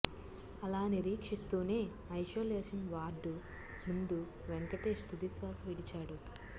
అలా నిరీక్షిస్తూనే isolation ward ముందు వెంకటేశ్ తుది శ్వాస విడిచాడు